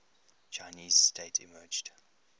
chinese state emerged